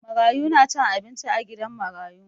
Marayu na cin abinci a gidan marayu.